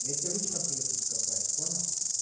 я тебя лично приеду закопаю понял